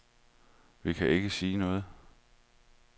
Vi kan ikke sige noget.